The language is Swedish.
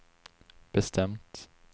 bestämt